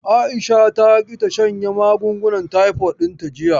Aisha ta ƙi ta shanye magungunan taifod ɗinta jiya.